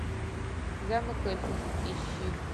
замок эльфов ищи